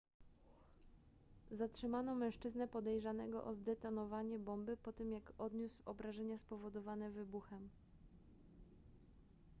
zatrzymano mężczyznę podejrzanego o zdetonowanie bomby po tym jak odniósł obrażenia spowodowane wybuchem